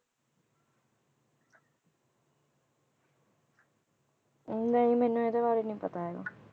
ਨਹੀਂ ਮੈਨੂੰ ਇਹਦੇ ਬਾਰੇ ਨੀ ਪਤਾ ਹੈਗਾ